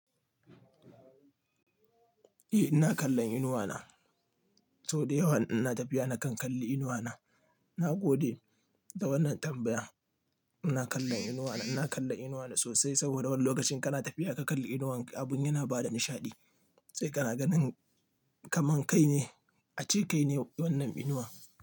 Eh, ina kallon inuwa na. Sau da yawa in ina tafiya nakan kalli inuwa na. Na gode da wannan tambaya. Ina kallon inuwa na, ina kallon inuwa na sosai saboda wani lokacin kana tafiya ka kalli inuwan ka abun yana ba da nishaɗi, sai kana ganin kaman kai ne a ce kai ne wannan inuwa.